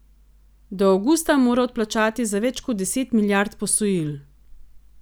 Do avgusta mora odplačati za več kot deset milijard posojil.